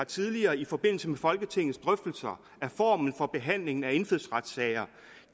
tidligere i forbindelse med folketingets drøftelser af formen for behandlingen af indfødsretssager